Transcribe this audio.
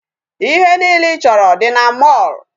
Ihe niile ị chọrọ dị na mall.